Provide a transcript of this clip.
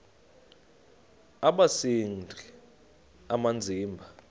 aba sisidl amazimba